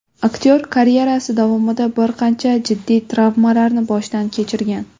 Aktyor karyerasi davomida bir qancha jiddiy travmalarni boshdan kechirgan.